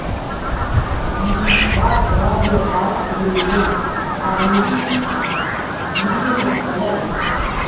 мм м газ радио жарық төленбеген тағы не не еді құдай ай